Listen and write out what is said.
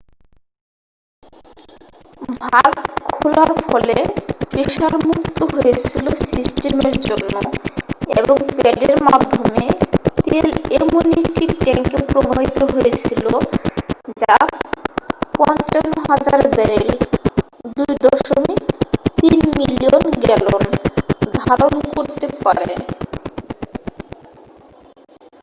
Valve খোলার ফলে pressure মুক্ত হয়েছিল সিস্টেমের জন্য এবং প্যাডের মাধ্যমে তেল এমন একটি ট্যাঙ্কে প্রবাহিত হয়েছিল যা 55,000 ব্যারেল 2.3 মিলিয়ন গ্যালন ধারন করতে পারে।